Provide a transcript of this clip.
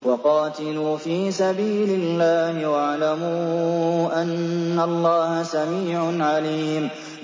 وَقَاتِلُوا فِي سَبِيلِ اللَّهِ وَاعْلَمُوا أَنَّ اللَّهَ سَمِيعٌ عَلِيمٌ